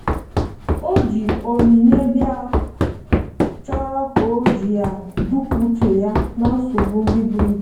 o ji onyinye biaọ chọrọ ka oji ya dọpụ uche ya na nsogbo ndi buru ibụ.